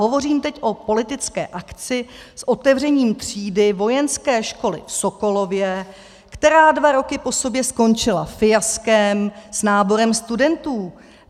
Hovořím teď o politické akci s otevřením třídy vojenské školy v Sokolově, která dva roky po sobě skončila fiaskem s náborem studentů.